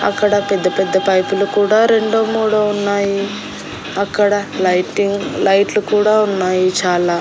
అక్కడ పెద్ద పెద్ద పైపులు కూడా రెండో మూడో ఉన్నాయి అక్కడ లైటింగ్ లైట్లు కూడా ఉన్నాయి చాలా.